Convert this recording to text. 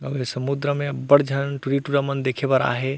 आऊ ए समुन्द्र में अब्बड़ झन टुरी-टूरा मन देखे बर आये हे।